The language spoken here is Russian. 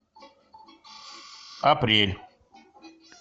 апрель